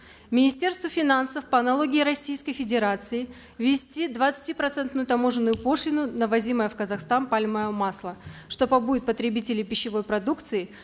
министерству финансов по аналогии российской федерации ввести двадцатипроцентную таможенную пошлину на ввозимое в казахстан пальмовое масло что побудит потребителей пищевой продукции